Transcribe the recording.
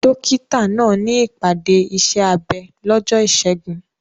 Dókítà náà ní ìpàdé iṣẹ́ abẹ lọ́jọ́ Ìṣẹ́gun.